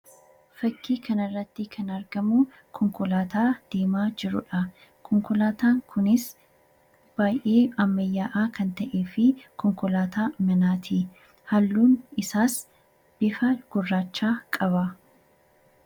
Fakkii kana irratti kan argamu, konkolaataa deemaa jirudha. Konkolaataan kunis baayyee ammayyaawaa kan ta'ee fi konkolaataa manaati. Halluun isaas bifa gurraacha qaba.